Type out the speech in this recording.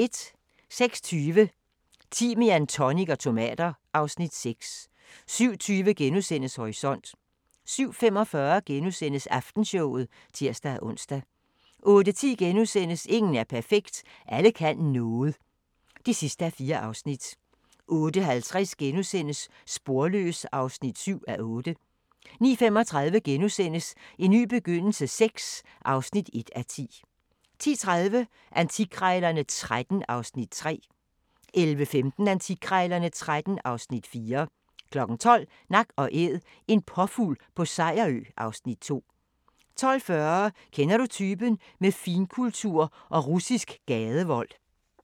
06:20: Timian, tonic og tomater (Afs. 6) 07:20: Horisont * 07:45: Aftenshowet *(tir-ons) 08:10: Ingen er perfekt – Alle kan noget (4:4)* 08:50: Sporløs (7:8)* 09:35: En ny begyndelse VI (1:10)* 10:30: Antikkrejlerne XIII (Afs. 3) 11:15: Antikkrejlerne XIII (Afs. 4) 12:00: Nak & Æd – en påfugl på Sejerø (Afs. 2) 12:40: Kender du typen? – Med finkultur og russisk gadevold